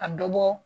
A dɔ bɔ